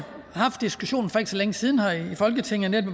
haft en diskussion for ikke så længe siden her i folketinget